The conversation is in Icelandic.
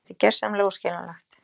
Þetta er gersamlega óskiljanlegt.